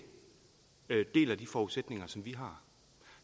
deler de forudsætninger som vi har